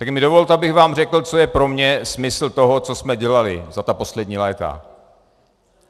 Tak mi dovolte, abych vám řekl, co je pro mě smysl toho, co jsme dělali za ta poslední léta.